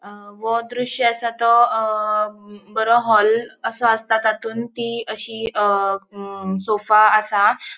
अ वो दृश्य असा तो अ बरो हॉल असो आसता तांतून ती अशी अ सोफ़ा असा.